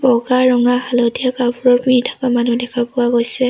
বগা ৰঙা হালধীয়া কাপোৰ পিন্ধি থকা মানুহ দেখা পোৱা গৈছে।